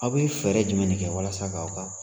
Aw bɛ feere jumɛn de kɛ walasa k'aw ka